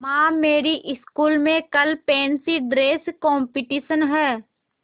माँ मेरी स्कूल में कल फैंसी ड्रेस कॉम्पिटिशन है